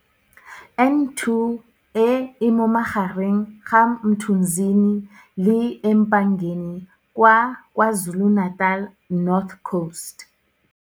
N2 e e mo magareng ga Mthunzini le eMpangeni kwa KwaZulu-Natal North Coast.